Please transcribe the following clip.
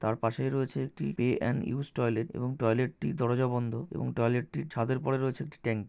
তার পাশেই রয়েছে একটি পে এন্ড ইউজ টয়লেট এবং টয়লেট -টির দরজা বন্ধ এবং টয়লেট -টির ছাদের পরে রয়েছে একটি ট্যাংক --